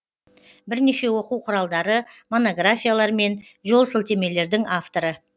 бірнеше оқу құралдары монографиялар мен жолсілтемелердің авторы